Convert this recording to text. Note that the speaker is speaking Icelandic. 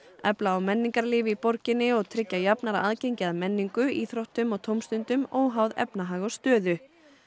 efla á menningarlíf í borginni og tryggja jafnara aðgengi að menningu íþróttum og tómstundum óháð efnahag og stöðu